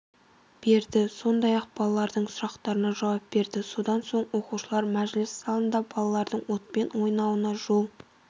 берді сондай-ақ балалардың сұрақтарына жауап берді содан соң оқушылар мәжіліс залында балалардың отпен ойнауына жол